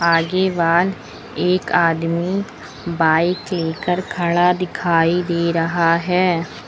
आगे वान एक आदमी बाइक लेकर खड़ा दिखाई दे रहा है।